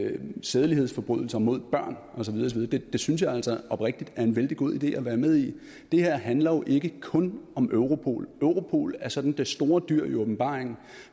sædelighedsforbrydelser mod børn og så videre det synes jeg altså oprigtigt er en vældig god idé at være med i det her handler jo ikke kun om europol europol er sådan det store dyr i åbenbaringen